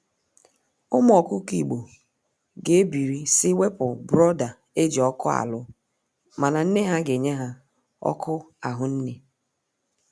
Ụmụ ọkụkọ igbo ga ebiri si wepụ brooder eji ọkụ alụ mana nne ha ga enye ha ọkụ ahụnne.